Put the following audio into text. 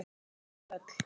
Um þau öll.